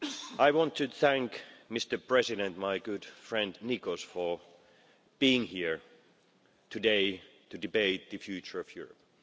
I want to thank Mr President, my good friend Nicos, for being here today to debate the future of Europe.